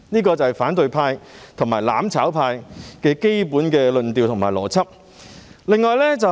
這就是反對派和"攬炒派"的基本論調和邏輯。